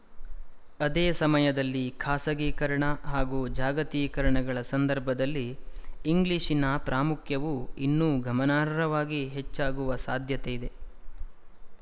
ಅದೇಸಮಯದಲ್ಲಿ ಖಾಸಗೀಕರಣ ಹಾಗೂ ಜಾಗತೀಕರಣಗಳ ಸಂದರ್ಭದಲ್ಲಿ ಇಂಗ್ಲಿಶಿನ ಪ್ರಾಮುಖ್ಯವು ಇನ್ನೂ ಗಮನಾರ್ಹವಾಗಿ ಹೆಚ್ಚಾಗುವ ಸಾಧ್ಯತೆಯಿದೆ